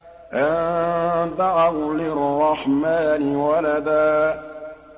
أَن دَعَوْا لِلرَّحْمَٰنِ وَلَدًا